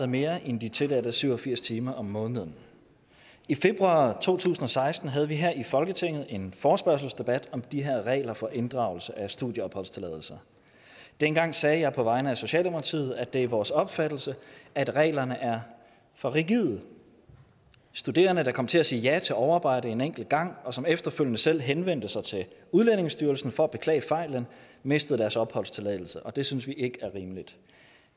mere end de tilladte syv og firs timer om måneden i februar to tusind og seksten havde vi her i folketinget en forespørgselsdebat om de her regler for inddragelse af studieopholdstilladelse dengang sagde jeg på vegne af socialdemokratiet at det er vores opfattelse at reglerne er for rigide studerende der kom til at sige ja til overarbejde en enkelt gang og som efterfølgende selv henvendte sig til udlændingestyrelsen for at beklage fejlen mistede deres opholdstilladelse og det synes vi ikke er rimeligt